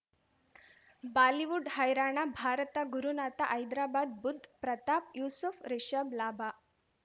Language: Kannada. ಬಾಲಿವುಡ್ ಹೈರಾಣ ಭಾರತ ಗುರುನಾಥ ಹೈದ್ರಾಬಾದ್ ಬುಧ್ ಪ್ರತಾಪ್ ಯೂಸುಫ್ ರಿಷಬ್ ಲಾಭ